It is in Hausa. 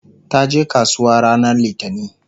taje kasuwa ranar littani